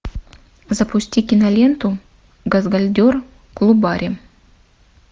запусти киноленту газгольдер клубаре